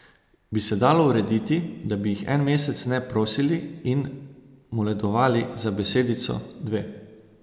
Bi se dalo urediti, da bi jih en mesec ne prosili in moledovali za besedico, dve?